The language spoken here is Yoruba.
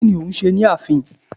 Kí ni o hún ṣe ni ààfin